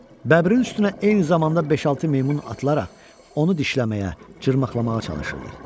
Bəbirin üstünə eyni zamanda beş-altı meymun atılaraq onu dişləməyə, cırmaqlamağa çalışırdı.